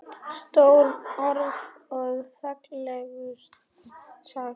Stór orð og fallega sagt.